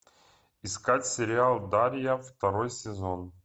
искать сериал дарья второй сезон